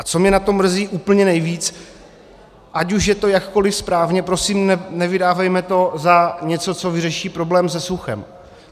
A co mě na tom mrzí úplně nejvíc, ať už je to jakkoli správně, prosím, nevydávejme to za něco, co vyřeší problém se suchem.